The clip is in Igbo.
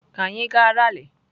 Ka anyị gaa ralị.